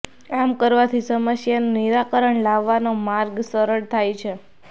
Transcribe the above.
આમ કરવાથી સમસ્યાનું નિરાકરણ લાવવાનો માર્ગ સરળ થાય છે